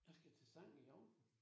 Jeg skal til sang i aften